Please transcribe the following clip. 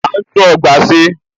À ń tún ọgbà ṣe.